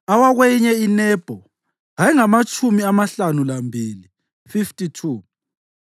awakweyinye iNebho ayengamatshumi amahlanu lambili (52),